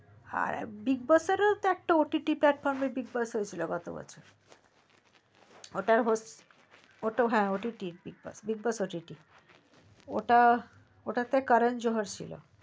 bigboss ওটা একটা ott platform এর bigboss হয়েছিল গত বছর ওটার ওটা হ্যা তো big boss ott ott big boss ওটা ওটাতে কোরান জোহার ছিল